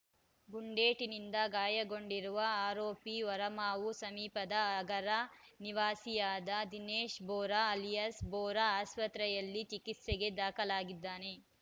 ಗುಂಡೇಟಿನಿಂದ ಗಾಯಗೊಂಡಿರುವ ಆರೋಪಿ ಹೊರಮಾವು ಸಮೀಪದ ಅಗರ ನಿವಾಸಿಯಾದ ದಿನೇಶ್‌ ಬೋರಾ ಅಲಿಯಾಸ್‌ ಬೋರಾ ಆಸ್ಪತ್ರೆಯಲ್ಲಿ ಚಿಕಿತ್ಸೆಗೆ ದಾಖಲಾಗಿದ್ದಾನೆ